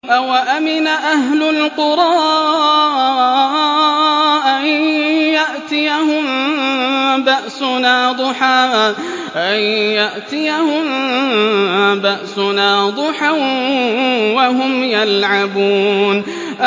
أَوَأَمِنَ أَهْلُ الْقُرَىٰ أَن يَأْتِيَهُم بَأْسُنَا ضُحًى وَهُمْ يَلْعَبُونَ